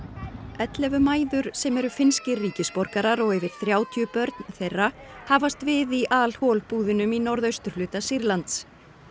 ellefu mæður sem eru finnskir ríkisborgarar og yfir þrjátíu börn þeirra hafast við í al hol búðunum í norðausturhluta Sýrlands